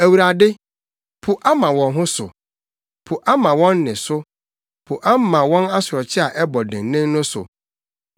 Awurade, po ama wɔn ho so, po ama wɔn nne so; po ama wɔn asorɔkye a ɛbɔ dennen no so.